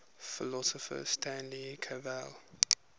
philosopher stanley cavell